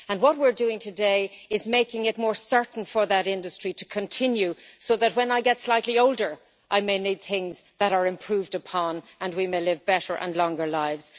What we are doing today is making it more certain for that industry to continue, so that when we get slightly older and may need things that are improved upon, we may live better and longer lives.